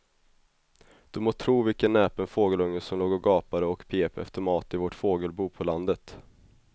Du må tro vilken näpen fågelunge som låg och gapade och pep efter mat i vårt fågelbo på landet.